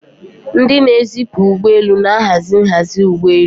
Ndị na-ezipụ ụgbọ elu na-ahazi nhazi ụgbọ elu.